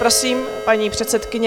Prosím, paní předsedkyně.